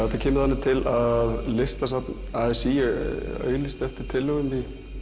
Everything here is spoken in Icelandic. þetta kemur þannig til að Listasafn a s í auglýsti eftir tillögum